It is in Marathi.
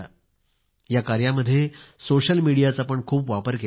या कार्यात सोशल मीडियाचा पण खूप वापर केला गेला